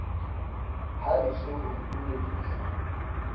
ha e se ho ntumedisa